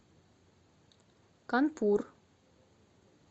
канпур